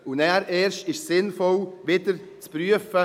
Erst danach ist es sinnvoll, wieder zu prüfen: